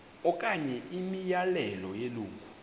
okanye imiyalelo yelungu